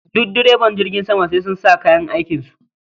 Duk direba jirgin sama sai sun sa kayan aikin su